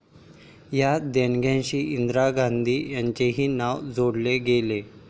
या देणग्यांशी इंदिरा गांधी यांचेही नाव जोडले गेले.